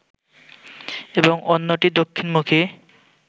এবং অন্যটি দক্ষিণমুখী